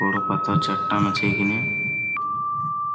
বোড়ো পাতার চার টন আছে এখনে।